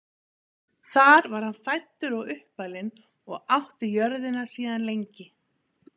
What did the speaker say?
Þar var hann fæddur og uppalinn og átti jörðina síðan lengi.